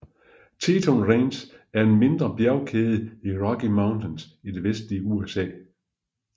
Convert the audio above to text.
Teton Range er en mindre bjergkæde i Rocky Mountains i det vestlige USA